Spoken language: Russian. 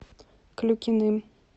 клюкиным